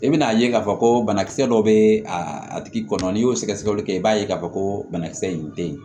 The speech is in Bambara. I bɛn'a ye k'a fɔ ko banakisɛ dɔ bɛ a tigi kɔnɔ n'i y'o sɛgɛsɛgɛli kɛ i b'a ye k'a fɔ ko banakisɛ in tɛ ye